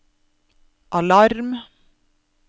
alarm